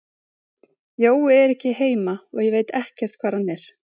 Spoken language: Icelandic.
Jói er ekki heima og ég veit ekkert hvar hann er.